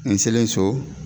Ni selen so